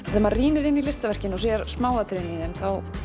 þegar maður rýnir í listaverkin og sér smáatriðin í þeim